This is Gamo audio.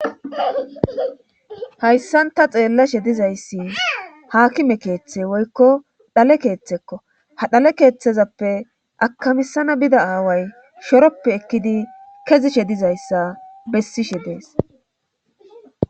hayssan ta xeellashe dizayssi haakime keeththe woykko dhale keeththekko ha dhale keeththezappe akamisana bida aaway shoroppe ekkidi kezishe dizayssa bessishe dees